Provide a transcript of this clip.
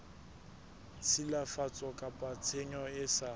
tshilafatso kapa tshenyo e sa